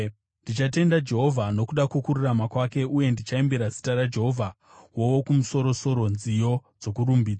Ndichatenda Jehovha nokuda kwokururama kwake, uye ndichaimbira zita raJehovha Wokumusoro-soro nziyo dzokurumbidza.